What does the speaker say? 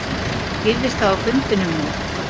Skýrðist það á fundinum nú?